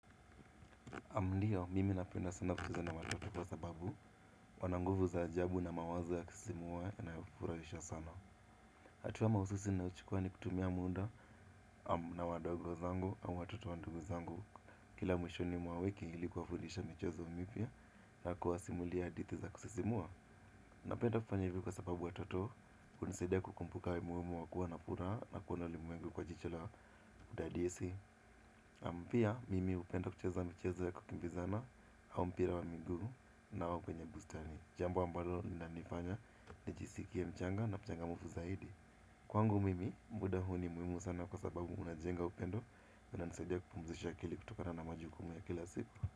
Naam ndio mimi napenda sana kucheza na watoto kwa sababu wana nguvu za ajabu na mawazo ya kusisimua na kufurahisha sana. Hatua mahususi nayochukua ni kutumia muda na wadogo zangu au watoto wa ndugu zangu. Kila mwishoni mwa wiki ili kuwafundisha michezo mipya na kuwasimulia hadithi za kusisimua. Napenda kufanya hivyo kwa sababu watoto, hunisidia kukumbuka umuhimu wa kuwa na furaha na kuona ulimwengu kwa jicho la kudadisi. Naam pia mimi hupenda kucheza micheza ya kukimbizana. Au mpira wa miguu nao kwenye bustani. Jambi ambalo linanifanya nijisikie mchanga na mchangamfu zaidi. Kwangu mimi, muda huu ni muhimu sana kwa sababu unajenga upendo unanisaidia kupumzisha akili kutokana na majukumu ya kila siku.